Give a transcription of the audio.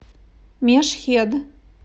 мешхед